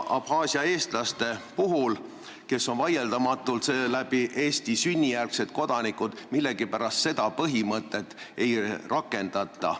Abhaasia eestlaste puhul, kes on vaieldamatult sünnijärgsed Eesti kodanikud, millegipärast seda põhimõtet ei rakendata.